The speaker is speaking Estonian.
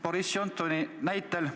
Kas vanematekogu on seda arutanud?